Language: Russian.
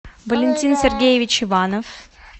валентин сергеевич иванов